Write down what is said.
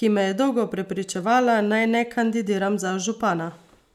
ki me je dolgo prepričevala, naj ne kandidiram za župana.